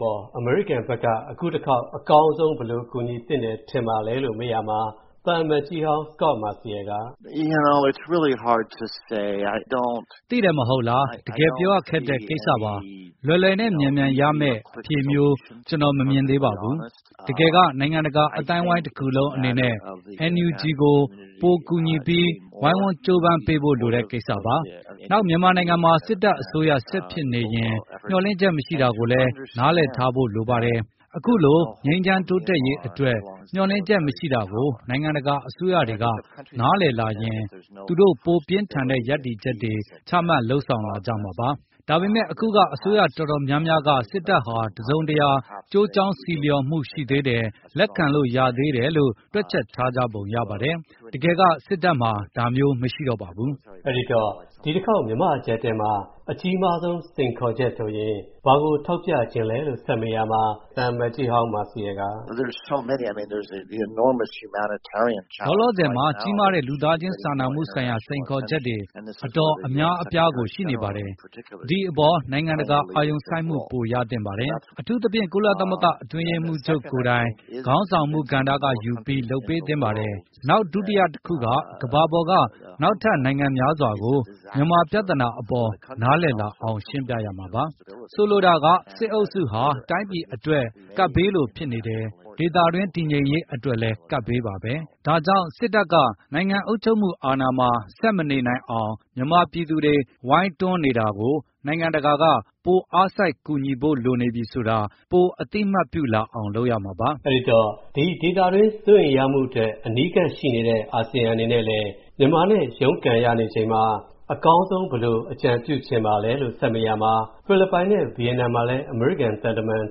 ပေါ် အမေရိကန် ဖက်က အကောင်းဆုံး ဘယ်လိုဖြေရှင်းသင့် သလဲလို့ မေးရာမှာ သံအမတ်ကြီးဟောင်း Ambassador Scot marciel က သိတယ်မလား တကယ်ပြောရခက်တဲ့ကိစ္စပါ။ လွယ်လွယ်နဲ့ မြန်မြန်ရမဲ့ အဖြေမျိုး ကျွန်တော် မမြင်သေးပါဘူး။ တကယ်က နိုင်ငံတကာအသိုင်းအဝိုင်းတခုလုံးအနေနဲ့ NUG ကို ပို ကူညီပြီး ဝိုင်းဝန်းကြိုးပမ်းပေးဖို့ လိုတဲ့ကိစ္စပါ။ နောက် မြန်မာနိုင်ငံမှာ စစ်တပ်အစိုးရ ဆက်ဖြစ်နေရင် မျှော်လင့်ချက်မရှိတာကို နားလည်ထားဖို့လည်း လိုပါတယ်။ အခုလို ငြိမ်းချမ်းတိုးတက်ရေးအတွက် မျှော်လင့်ချက်မရှိတာကို နိုင်ငံတကာအစိုးရတွေက နားလည်လာရင်၊ သူတို့ ပိုပြင်းထန်တဲ့ ရပ်တည်ချက်တွေ ချမှတ်လုပ်ဆောင်လာကြမှာပါ။ ဒါပေမဲ့ အခုက အစိုးရအတော်များများက စစ်တပ်ဟာ တစုံတရာ ကျိုးကြောင်းဆီလျှော်မှုရှိသေးတယ်၊ လက်ခံလို့ရနိုင်သေးတယ်လို့ တွက်ချက်ထားကြပုံရပါတယ်။ တကယ်က စစ်တပ်မှာ ဒါမျိုးမရှိတော့ပါဘူး။ အဲဒီနောက် မြန်မာအကြပ်အတည်းမှာ အကြီးမားဆုံး စိန်ခေါ်ချက်အနေနဲ့ ဘာကို ထောက်ပြလိုပါသလဲ ။ အခုလောလောဆယ်မှာ ကြီးမားတဲ့ လူသားချင်းစာနာမှုဆိုင်ရာ စိန်ခေါ်ချက်တွေ အတော် အများအပြားကို ရှိနေပါတယ်။ ဒီအပေါ် နိုင်ငံတကာ အာရုံစိုက်မှု ပိုရသင့်ပါတယ်။ အထူးသဖြင့် ကုလသမဂ္ဂ အတွင်းရေးမှုးချုပ်ကိုယ်တိုင် ခေါင်းဆောင်မူကဏ္ဍကယူပြီး လုပ်ပေးသင့်ပါတယ်။ ဒါက တခုပါ။ နောက် ဒုတိယတခုက ကမ္ဘာပေါ်က နောက်ထပ် နိုင်ငံများစွာကို မြန်မာပြဿနာအပေါ် နားလည်လာအောင် ရှင်းပြရမှပါ။ ဆိုလိုတာက စစ်အုပ်စုဟာ တိုင်းပြည်အတွက် ကပ်ဘေးလိုဖြစ်နေတယ်၊ ဒါတင်မကပါဘူး ဒေသတွင်း တည်ငြိမ်ရေးအတွက်လည်း ကပ်ဘေးပါပဲ၊ ဒါကြောင့် စစ်တပ် နိုင်ငံအုပ်ချုပ်မှုအာဏာမှာ ဆက်မနေနိုင်အောင် မြန်မာပြည်သူတွေ ဝိုင်းတွန်းနေတာကို နိုင်ငံတကာက ပိုအားစိုက်ကူညီဖို့ လိုနေပြီဆိုတာ ပိုအသိအမှတ်ပြုလာအောင် လုပ်ရမှာပါ။ ဒီဒေသတွင်း စိုးရိမ်ချက်အတွက် အနီးကပ်ရှိနေတဲ့ အာဆီယံအနေနဲ့လည်း မြန်မာနဲ့ ရုန်းကန်နေရချိန်မှာ အကောင်းဆုံး ဘယ်လို အကြံပြုချင်ပါလဲလို့မေးရာမှာ ဖိလစ်ပိုင် နဲ့ ဗီယက်နမ်မှာလည်း အမေရိကန် သံတမန်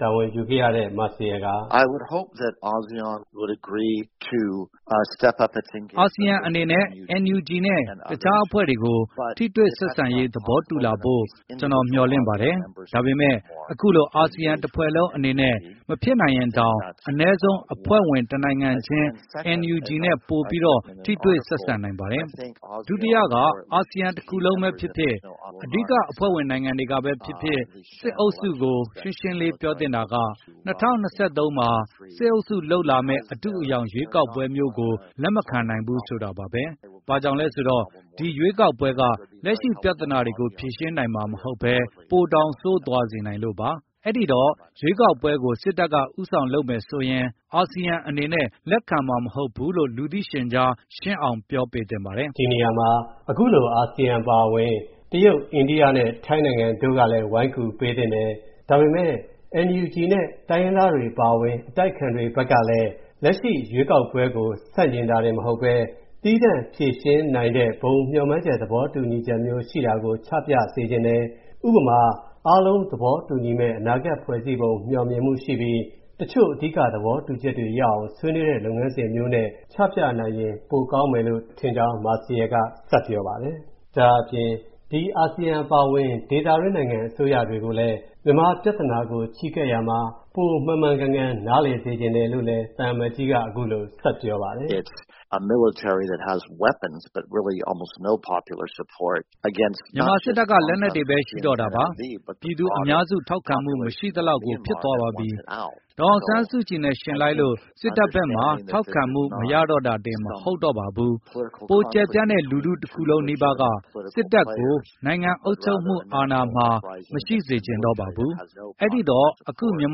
တာဝန်ယူခဲ့ရတဲ့ Scot marciel က အာဆီယံအနေနဲ့ NUG နဲ့ တခြားအဖွဲ့တွေကို ထိတွေ့ဆက်ဆံရေး သဘောတူလာဖို့ ကျွန်တော် မျှော်လင့်ပါတယ်။ ဒါပေမဲ့ အခုလို အာဆီယံတဖွဲ့လုံးအနေနဲ့ မဖြစ်နိုင်ရင်တောင် အနဲဆုံး အဖွဲဝင် တစ်နိုင်ငံချင်း NUG နဲ့ ပိုပြီးတော့ ထိတွေ့ဆက်ဆံနိုင်ပါတယ်။ ဒုတိယက အာဆီယံတခုလုံးပဲဖြစ်ဖြစ်၊ အားလုံးဘုံသဘောတူမှုမရနိုင်လို့ရှိရင်လည်း အဓိကအဖွဲ့ဝင် နိုင်ငံတွေကပဲဖြစ်ဖြစ် စစ်အုပ်စုကို ရှင်းရှင်းလေး ပြောသင့်တာက၊ ၂၀၂၃ မှာ စစ်အုပ်စုလုပ်လာမဲ့ အတုအယောင် ရွေးကောက်ပွဲမျိုးကို လက်မခံနိုင်ဘူးဆိုတာပါပဲ။ ဘာကြောင့်လဲဆိုတော့ ဒီရွေးကောက်ပွဲက လက်ရှိပြဿနာတွေကို ဖြေရှင်းနိုင်မှာ မဟုတ်ဘဲ၊ ပိုတောင် ဆိုးသွားစေနိုင်လို့ပါ။ အဲ့ဒိတော့ ဒီရွေးကောက်ပွဲကို စစ်တပ်က ဦးဆောင်လုပ်မယ်ဆိုရင် အာဆီယံအနေနဲ့ လက်ခံမှာမဟုတ်ဘူးလို့ လူသိရှင်ကြား ရှင်းအောင် ပြောပေးသင့်ပါတယ်။ ဒီနေရာမှာ အခုလို အာဆီယံ အပါအဝင် တရုတ်၊ ထိုင်းနိုင်ငံ တို့ကလည်း ဝိုင်းကူပေးသင့်တယ်။ ဒါပေမဲ့ NUG နဲ့ အတိုက်အခံတို့ကလည်း လက်ရှိရွေးကောက်ပွဲကို ဆန့်ကျင်တာတင်မကပဲ သီးသန့်ဖြေရှင်းနိုင်တဲ့ ဘုံသဘောတူ မျှော်မှန်းချက်မျိုး ချပြပေးသင့်တယ်။ ဥပမာ အားလုံး သဘောတူညီမဲ့ အနာဂတ် မျှော်မှန်းချက်ထားပြီး တချို့သဘောတူညီချက်တွေရအောင် ချပြနိုင်မယ်လို့ သူထင်ကြောင်း ဆက်ပြောပါတယ်။ ဒါအပြင် အာဆီယံအပါအဝင် ဒေသတွင်း နိုင်ငံအစိုးရတွေအနေနဲ့ မြန်မာပြသာနာကို ချည်းကပ်ရာမှာ ပိုမှန်မှန်ကန်ကန် နားလည်စေချင်တယ်လို့ သူက ဆက်ပြောပါတယ်။ မြန်မာစစ်တပ်က လက်နက်တွေပဲရှိတော့တာပါ၊ ပြည်သူအများစုထောက်ခံမှု မရှိသလောက်ကို ဖြစ်သွားပါပြီ။ ဒေါ်အောင်ဆန်းကြည်နဲ့ ယှဉ်လိုက်လို့ စစ်တပ်ဘက်မှာ ထောက်ခံမှု မရတော့တာတင်မဟုတ်တော့ပါဘူး။ ပိုကျယ်ပြန့်တဲ့ လူထုတခုလုံးနီးပါးကပါ စစ်တပ်ကို နိုင်ငံအုပ်ချုပ်မှုအာဏာမှာ မရှိစေချင်တော့ပါဘူး။ အဲ့ဒိတော့ အခုမြန်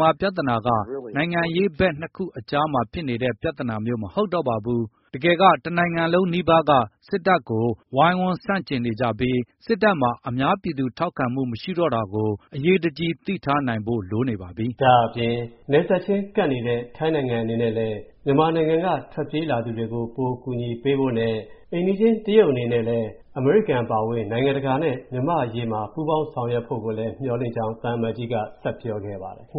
မာပြဿနာက နိုင်ငံရေးဘက် ၂ ခုကြားမှာ ဖြစ်နေတဲ့ ပြဿနာမျိုး မဟုတ်တော့ပါဘူး။ တကယ်က တနိုင်ငံလုံးနီးပါးက စစ်တပ်ကို ဝိုင်ဆန့်ကျင်နေကြပြီး စစ်တပ်မှာ အများပြည်သူထောက်ခံမှုမရှိတော့တာကို အရေးတကြီး သိထားနိုင်ဖို့ လိုနေပါပြီ။ ဒါအပြင် နယ်စပ်ချင်း ကပ်နေတဲ့ ထိုင်းနိုင်ငံအနေနဲ့လည်း မြန်မာနိုင်ငံက ထွက်ပြေးလာကြသူတွေကို ပိုကူညီပေးဖို့နဲ့ တရုတ်နိုင်ငံအနေနဲ့လည်း အမေရိကန် နဲ့အတူ မြန်မာနိုင်ငံရေး ကူညီပေးဖို့ သံအမတ်ကြီးက ပြောပါတယ်။